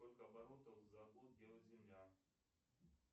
сколько оборотов за год делает земля